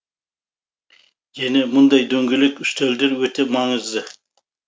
және мұндай дөңгелек үстелдер өте маңызды